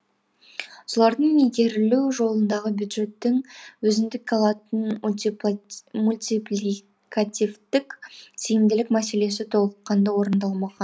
солардың игерілу жолындағы бюджеттің өзіндік алатын мультипликативтік тиімділік мәселесі толыққанды орындалмаған